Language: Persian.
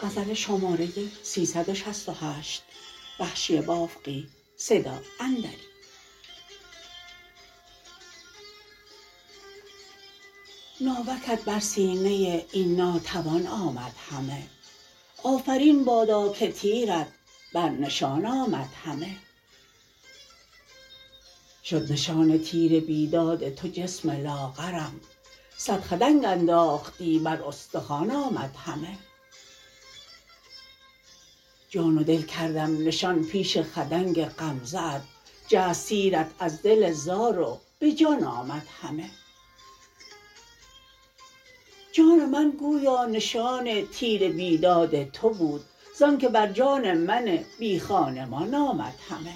ناوکت بر سینه این ناتوان آمد همه آفرین بادا که تیرت بر نشان آمد همه شد نشان تیر بیداد تو جسم لاغرم سد خدنگ انداختی بر استخوان آمد همه جان و دل کردم نشان پیش خدنگ غمزه ات جست تیرت از دل زار و به جان آمد همه جان من گویا نشان تیر بیداد تو بود زانکه بر جان من بی خانمان آمد همه